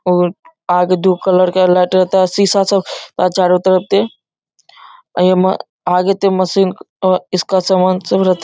और आगे दो कलर का आगे ते मशीन अ इसका समान सब --